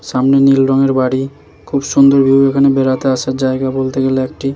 সামনে নীল রংয়ের বাড়ি খুব সুন্দর ভিউ এখানে বেড়াতে আসার জায়গা বলতে গেলে একটি।